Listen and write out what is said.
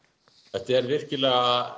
þetta er virkilega